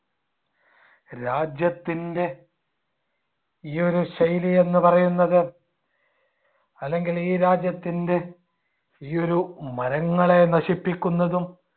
രാജ്യത്തിൻടെ ഈ ഒരു ശൈലി എന്ന് പറയുന്നത് അല്ലെങ്കിൽ ഈ രാജ്യത്തിൻടെ ഈ ഒരു മരങ്ങളെ നശിപ്പിക്കുന്നതും